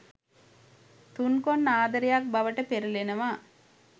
තුන්කොන් ආදරයක් බවට පෙරලෙනවා.